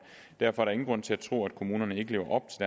derfor er der ingen grund til at tro at kommunerne ikke lever op